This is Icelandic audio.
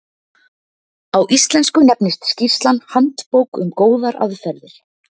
Á íslensku nefnist skýrslan Handbók um góðar aðferðir.